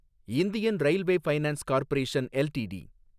Indian railway finance corporation LTD